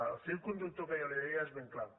el fil conductor que jo li deia és ben clar